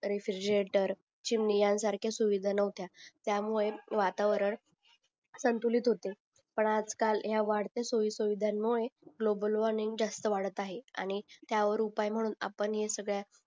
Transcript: रेफीर्जेरंटरं चिमणी ह्यां सारखे सुविधा नव्हत्या त्या मुळे वातावरण संतुलित होते पण आज काल ह्या वाढत्या सोय सुविधां मुळे ग्लोबल वॉर्मिंग जास्त वाडत आहे आणि त्यावर उपाय म्हणून आपण हे सगळ्या